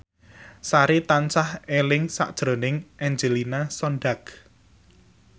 Sari tansah eling sakjroning Angelina Sondakh